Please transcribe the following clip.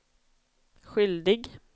skyldig